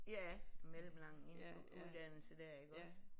Ja mellemlang en uddannelse der iggås